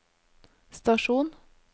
stasjon